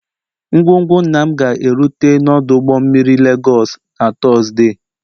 Ngwongwo nna m ga-erute ọdụ ụgbọ mmiri Lagos na Tuzdee